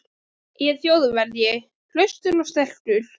Ég er Þjóðverji, hraustur og sterkur.